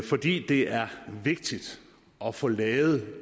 fordi det er vigtigt at få lavet